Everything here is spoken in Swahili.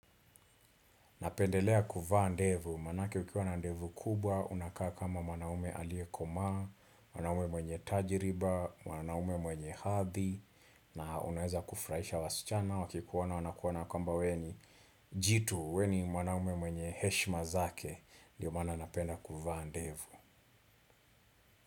Napendelea kuvaa ndevu, manake ukiwa na ndevu kubwa, unakaa kama mwanaume aliyekomaa, mwanaume mwenye tajriba, mwanaume mwenye hadhi, na unaweza kufurahisha wasichana, wakikuona wanakuona kwamba wewe ni, jitu, wewe ni mwanaume mwenye heshima zake, ndio maana napenda kuvaa ndevu.